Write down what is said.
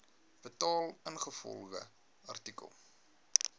betaal ingevolge artikel